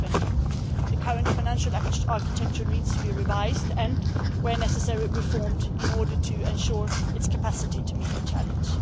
2020. The current financial architecture needs to be revised and, where necessary, reformed in order to ensure its capacity to meet the challenge.